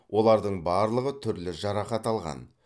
олардың барлығы түрлі жарақат алған